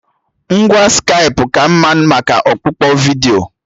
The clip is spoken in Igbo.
Ngwa Skaipụ ka mma maka ọkpụkpọ vidiyo